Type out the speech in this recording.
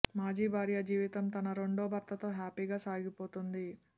మాజీ భార్య జీవితం తన రెండో భర్తతో హ్యాపీగా సాగిపోతోంది